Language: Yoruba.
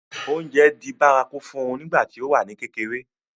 oúnjẹ di bárakú fún un nígbà tí ó wà ní kékeré